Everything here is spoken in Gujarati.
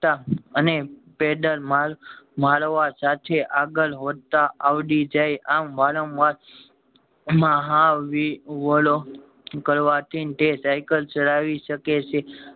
તા અને પેડલ માર મારવા સાથે આગળ વધતા અવડી જાય આમ વારંવાર મહાવી એલો કરવાથી તે સાયકલ ચલાવી શકે છે